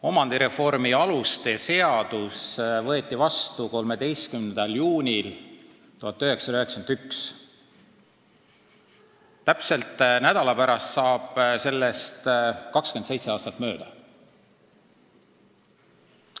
Omandireformi aluste seadus võeti vastu 13. juunil 1991, täpselt nädala pärast saab sellest 27 aastat mööda.